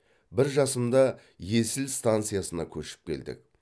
бір жасымда есіл станциясына көшіп келдік